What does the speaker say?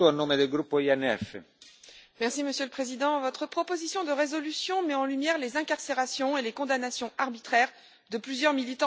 Monsieur le Président, votre proposition de résolution met en lumière les incarcérations et les condamnations arbitraires de plusieurs militants pacifiques pour les droits de l'homme et des femmes.